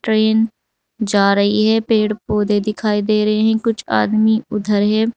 Train जा रही है पेड़ पौधे दिखाई दे रहे हैं कुछ आदमी उधर है।